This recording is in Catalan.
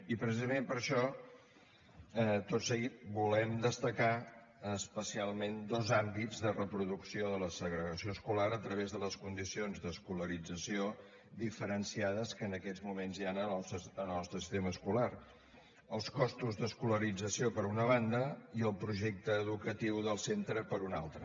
i precisament per això tot seguit volem destacar especialment dos àmbits de reproducció de la segregació escolar a través de les condicions d’escolarització diferenciades que en aquests moments hi han en el nostre sistema escolar els costos d’escolarització per una banda i el projecte educatiu del centre per una altra